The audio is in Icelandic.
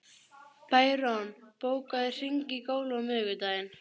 Bæron, bókaðu hring í golf á miðvikudaginn.